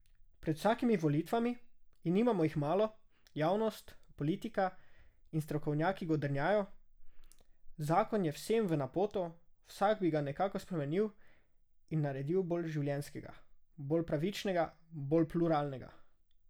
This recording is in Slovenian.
Pred vsakimi volitvami, in nimamo jih malo, javnost, politika in strokovnjaki godrnjajo, zakon je vsem v napoto, vsak bi ga nekako spremenil in naredil bolj življenjskega, bolj pravičnega, bolj pluralnega.